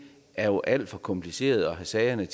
er jo alt for kompliceret at sagerne